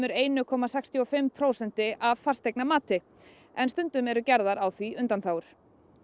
eitt komma sextíu og fimm prósent af fasteignamati en stundum eru gerðar á því undanþágur